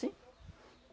Sim.